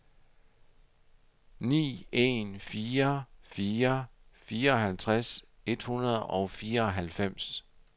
ni en fire fire fireoghalvtreds et hundrede og fireoghalvfems